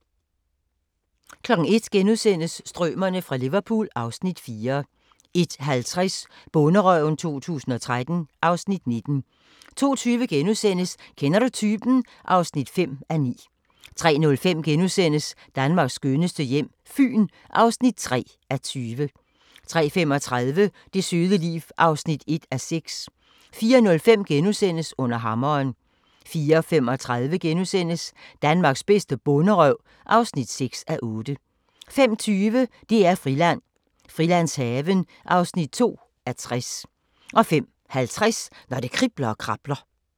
01:00: Strømerne fra Liverpool (Afs. 4)* 01:50: Bonderøven 2013 (Afs. 19) 02:20: Kender du typen? (5:9)* 03:05: Danmarks skønneste hjem - Fyn (3:20)* 03:35: Det søde liv (1:6) 04:05: Under hammeren * 04:35: Danmarks bedste bonderøv (6:8)* 05:20: DR-Friland: Frilandshaven (2:60) 05:50: Når det kribler og krabler